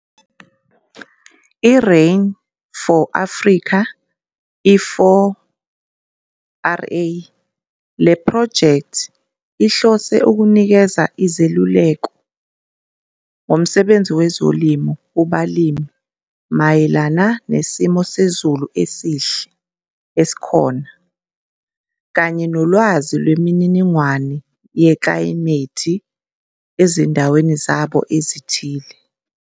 I-Rain for Africa i-4RA le phrojekthi ihlose ukunikeza izeluleko ngomsebenzi wezolimo kubalimi mayelana nesimo sezulu esihle esikhona kanye nolwazi lwemininingwane yeklayimethi ezindaweni zabo ezithile.